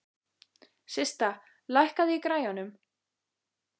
Systa, lækkaðu í græjunum.